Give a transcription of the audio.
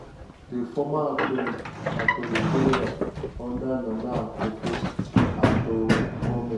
di former attorney attorney general (under nana akuffo-addo goment)